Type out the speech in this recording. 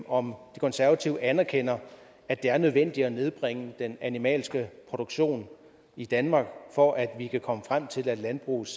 om de konservative anerkender at det er nødvendigt at nedbringe den animalske produktion i danmark for at vi kan komme frem til at landbrugets